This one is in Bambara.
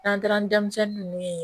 N'an taara ni denmisɛnnin ninnu ye